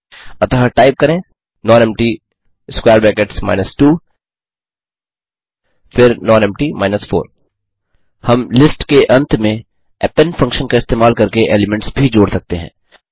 अतः टाइप करें nonempty 1 nonempty 2 फिर नॉनेम्पटी 4 हम लिस्ट के अंत में अपेंड फंक्शन का इस्तेमाल करके एलीमेंट्स भी जोड़ सकते हैं